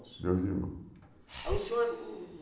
Dois irmãos. Aí o senhor